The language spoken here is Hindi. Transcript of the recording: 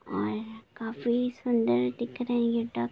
और ये काफी सुँदर दिख रही है हे यह डक--